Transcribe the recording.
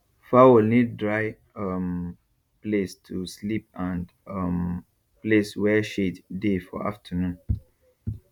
fowl need dry um place to sleep and um place where shade dey for afternoon